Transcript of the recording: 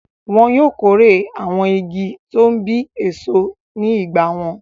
Wọn yóò kórè àwọn igi tó ń bí èso ní ìgbà wọn.